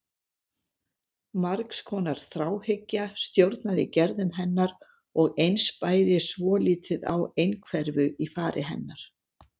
Margs konar þráhyggja stjórnaði gerðum hennar og eins bæri svolítið á einhverfu í fari hennar.